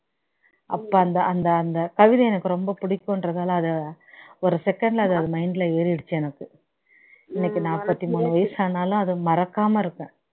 அப்போ அந்த அந்த அந்த கல்வி எனக்கு ரொம்ப பிடிக்கும் என்றதால அதை ஒரு second ல அது mind ல ஏறிடுச்சி எனக்கு இன்னைக்கு நாப்பத்தி மூணு வயசு ஆனாலும் அது மறக்காம இருக்கேன்